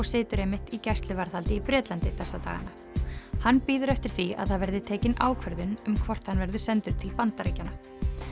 situr einmitt í gæsluvarðhaldi í Bretlandi þessa dagana hann bíður eftir því að það verði tekin ákvörðun um hvort hann verður sendur til Bandaríkjanna